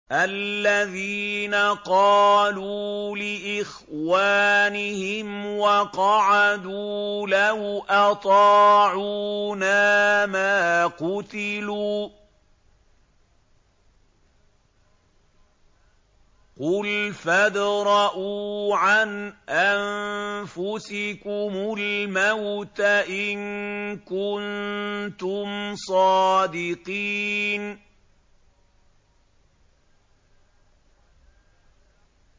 الَّذِينَ قَالُوا لِإِخْوَانِهِمْ وَقَعَدُوا لَوْ أَطَاعُونَا مَا قُتِلُوا ۗ قُلْ فَادْرَءُوا عَنْ أَنفُسِكُمُ الْمَوْتَ إِن كُنتُمْ صَادِقِينَ